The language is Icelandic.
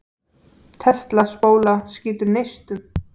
Tesla-spóla skýtur neistum.